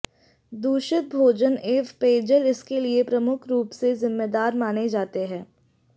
दूषित भोजन एवं पेयजल इसके लिए प्रमुख रूप से जिम्मेदार माने जाते है